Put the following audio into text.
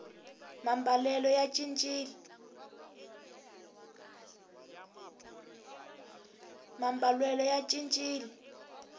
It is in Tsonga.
mambalelo ya cincile